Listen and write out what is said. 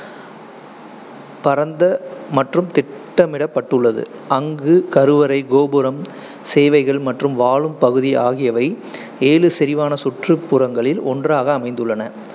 பரந்த மற்றும் திட்டமிடப்பட்டுள்ளது, அங்கு கருவறை, கோபுரம், சேவைகள் மற்றும் வாழும் பகுதி ஆகியவை ஏழு செறிவான சுற்றுப்புறங்களில் ஒன்றாக அமைந்துள்ளன.